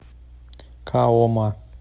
каома